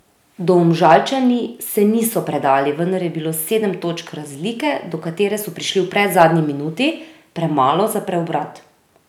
Domžalčani se niso predali, vendar je bilo sedem točk razlike, do katere so prišli v predzadnji minuti, premalo za preobrat.